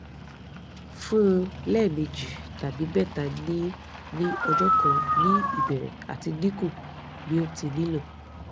fun un lẹmeji tabi mẹta ni ni ọjọ kan ni ibẹrẹ ati dinku bi o ti nilo